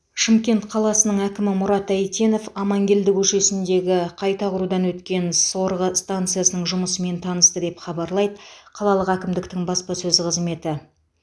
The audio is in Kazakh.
шымкент қаласының әкімі мұрат әйтенов аманкелді көшесіндегі қайта құрудан өткен сорғы станциясының жұмысымен танысты деп хабарлайды қалалық әкімдіктің баспасөз қызметі